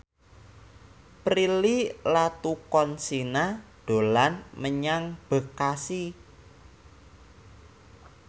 Prilly Latuconsina dolan menyang Bekasi